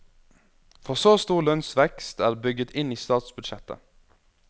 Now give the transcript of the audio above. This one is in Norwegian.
For så stor lønnsvekst er bygget inn i statsbudsjettet.